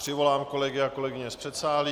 Přivolám kolegyně a kolegy z předsálí.